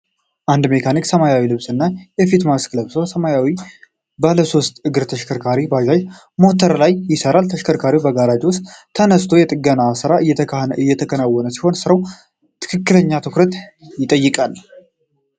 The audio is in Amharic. አንድ መካኒክ ሰማያዊ ልብስና የፊት ማስክ ለብሶ በሰማያዊ ባለሶስት እግር ተሽከርካሪ (ባጃጅ) ሞተር ላይ ይሠራል። ተሽከርካሪው በጋራዥ ውስጥ ተነስቶ የጥገና ሥራ እየተከናወነበት ሲሆን፣ ሥራው ትክክለኛ ትኩረት ይጠይቃል።